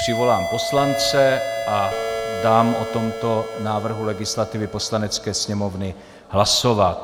Přivolám poslance a dám o tomto návrhu legislativy Poslanecké sněmovny hlasovat.